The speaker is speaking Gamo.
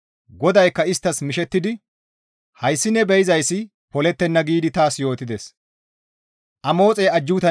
GODAYKKA isttas mishettidi, «Hayssi ne be7izayssi polettenna» giidi taas yootides.